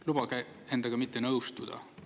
Lubage endaga mitte nõustuda.